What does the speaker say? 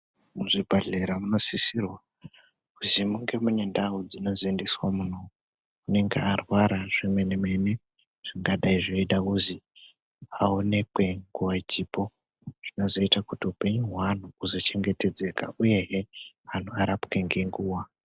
Muzvibhodhlera munosisirwa kuzi munge mune ndau dzekuzoisirwe munhu anenge arwara zvemene mene zvingadai zveiita kuzi aonekwe nguwa ichipo zvinozoita kuti hulenyu hweantu huzochengetedzeka uyezve anhu arapwe ngenguwa .